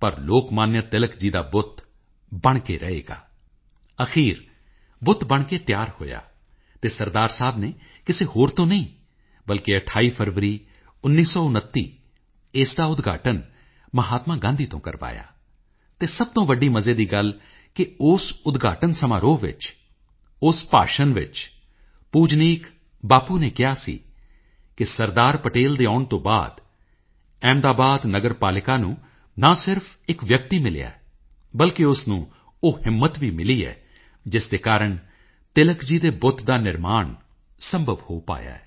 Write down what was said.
ਪਰ ਲੋਕਮਾਨਿਆ ਤਿਲਕ ਜੀ ਦਾ ਬੁੱਤ ਬਣ ਕੇ ਰਹੇਗਾ ਅਖੀਰ ਬੁੱਤ ਬਣ ਕੇ ਤਿਆਰ ਹੋਇਆ ਅਤੇ ਸਰਦਾਰ ਸਾਹਿਬ ਨੇ ਕਿਸੇ ਹੋਰ ਤੋਂ ਨਹੀਂ ਬਲਕਿ 28 ਫਰਵਰੀ 1929 ਇਸ ਦਾ ਉਦਘਾਟਨ ਮਹਾਤਮਾ ਗਾਂਧੀ ਤੋਂ ਕਰਵਾਇਆ ਅਤੇ ਸਭ ਤੋਂ ਵੱਡੀ ਮਜ਼ੇ ਦੀ ਗੱਲ ਹੈ ਉਸ ਉਦਘਾਟਨ ਸਮਾਰੋਹ ਵਿੱਚ ਉਸ ਭਾਸ਼ਣ ਵਿੱਚ ਪੂਜਨੀਕ ਬਾਪੂ ਨੇ ਕਿਹਾ ਸੀ ਕਿ ਸਰਦਾਰ ਪਟੇਲ ਦੇ ਆਉਣ ਤੋਂ ਬਾਅਦ ਅਹਿਮਦਾਬਾਦ ਨਗਰਪਾਲਿਕਾ ਨੂੰ ਨਾ ਸਿਰਫ਼ ਇੱਕ ਵਿਅਕਤੀ ਮਿਲਿਆ ਹੈ ਬਲਕਿ ਉਸ ਨੂੰ ਉਹ ਹਿੰਮਤ ਵੀ ਮਿਲੀ ਹੈ ਜਿਸ ਦੇ ਕਾਰਨ ਤਿਲਕ ਜੀ ਦੇ ਬੁੱਤ ਦਾ ਨਿਰਮਾਣ ਸੰਭਵ ਹੋ ਪਾਇਆ ਹੈ